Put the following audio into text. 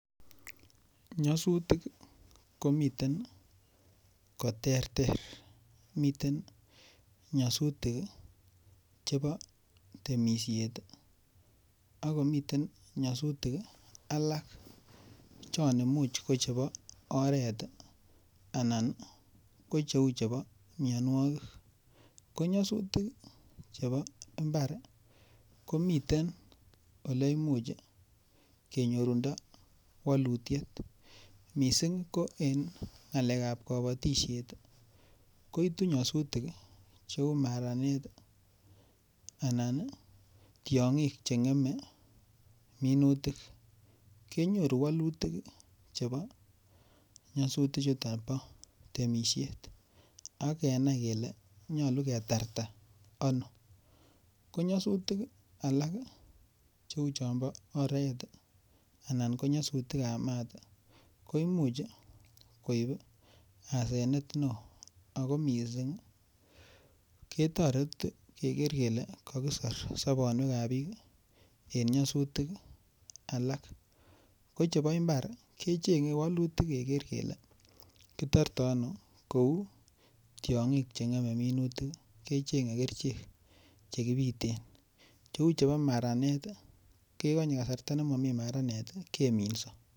Nyosutik komiten koterter miten nyosutik chebo temishet akomiten nyosutik alak chon imuuch ko chebo oret anan ko cheu chebo miyonwokik ko nyasutik chebo mbar komiten ole imuuch kenyorundo walutiet mising' ko en ng'alekab kabatishet kouitu nyasutik cheu maranet anan tiong'ik cheng'eme minutik kenyoru wolutik chebo nyosutichuto bo temishet ak kenai kele nyoru ketarta ano ko nyosutik alak cheu chon bo oret anan ko nyosutikab maat ko imuuch koib asenet en oo ako mising' ketoreti keker kele kakisir sobonwekab biik en nyosutik alak ko chebo imbar kecheng'e wolutik keker kele kitorto ano kou tiong'ik cheng'eme minutik kecheng'e kerichek chekibiten cheu chebo maranet kekonyei kasarta nemami maranet keminso